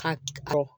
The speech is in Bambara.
Ka kɔkɔ